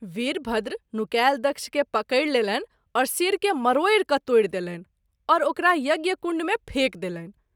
वीरभद्र नुकाएल दक्ष के पकड़ि लेलनि और शिर के मरोड़ि क’ तोड़ि देलनि और ओकरा यज्ञ कुण्ड मे फेकि देलनि।